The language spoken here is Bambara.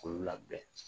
K'olu labɛn